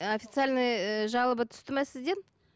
официальный ііі жалоба түсті ме сізден